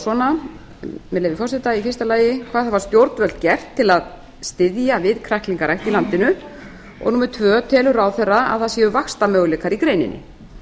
svona með leyfi forseta fyrsta hvað hafa stjórnvöld gert til að styðja við kræklingarækt í landinu annars telur ráðherra að það séu vaxtarmöguleikar í greininni